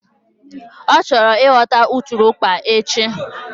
Ọ chọrọ ịghọta ụtụrụkpa echi